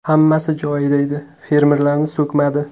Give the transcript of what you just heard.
Hammasi joyida edi, fermerlarni so‘kmadi.